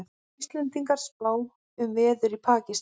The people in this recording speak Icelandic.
Íslendingar spá um veður í Pakistan